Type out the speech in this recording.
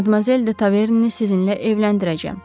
Madmazel de Taverneni sizinlə evləndirəcəm.